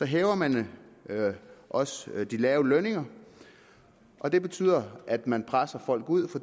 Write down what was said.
hæver man også de lave lønninger og det betyder at man presser folk ud